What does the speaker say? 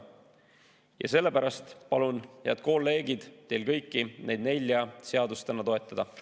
Ja sellepärast palun, head kolleegid, teil kõiki neid nelja seadust täna toetada.